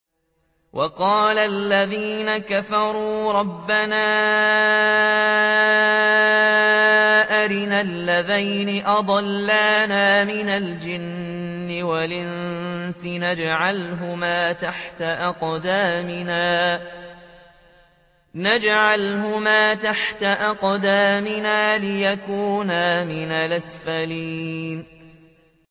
وَقَالَ الَّذِينَ كَفَرُوا رَبَّنَا أَرِنَا اللَّذَيْنِ أَضَلَّانَا مِنَ الْجِنِّ وَالْإِنسِ نَجْعَلْهُمَا تَحْتَ أَقْدَامِنَا لِيَكُونَا مِنَ الْأَسْفَلِينَ